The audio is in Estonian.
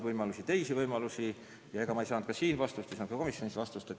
Ma ei saanud vastust siin ega komisjonis.